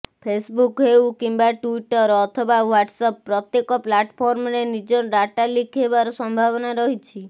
Facebook ହେଉ କିମ୍ବା Twitter ଅଥବା ହ୍ବାଟ୍ସଆପ ପ୍ରତ୍ୟେକ ପ୍ଲାଟଫର୍ମରେ ନିଜ ଡାଟା ଲିକ ହେବାର ସମ୍ଭାବନା ରହିଛି